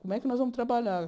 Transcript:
Como é que nós vamos trabalhar?